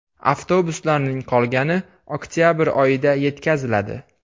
Avtobuslarning qolgani oktabr oyida yetkaziladi.